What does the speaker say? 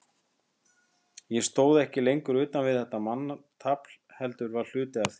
Ég stóð ekki lengur utan við þetta manntafl, heldur var hluti af því.